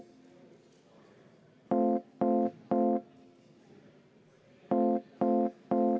Kümme minutit vaheaega.